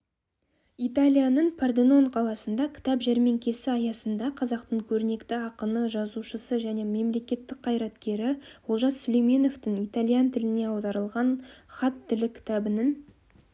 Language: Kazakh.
италияның порденон қаласында кітап жәрмеңкесі аясында қазақтың көрнекті ақыны жазушысы және мемлекеттік қайраткері олжас сүлейменовтің итальян тіліне аударылған хат тілі кітабының